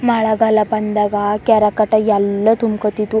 ಮಳೆಗಾಲ ಬಂದಾಗ ಕೆರೆ ಕಟ್ ಎಲ್ಲಾ ತುಂಬಕೋತ್ತಿತು.